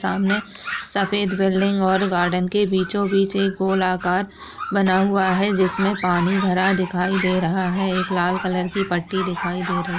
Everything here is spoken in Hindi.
सामने सफ़ेद बिल्डिंग और गार्डन के बीचों बीच एक गोल आकार बना हुआ है जिसमे पानी भरा दिखाई दे रहा है। एक लाल कलर की पटी दिखाई दे रही --